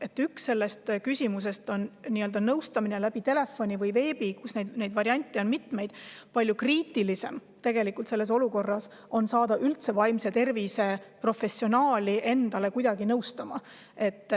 Üks pool sellest küsimusest on nõustamine telefoni või veebi teel, mille puhul variante on mitmeid, aga palju kriitilisem on selles olukorras saada nõu vaimse tervise professionaalilt.